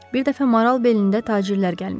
Bir dəfə maral belində tacirlər gəlmişdilər.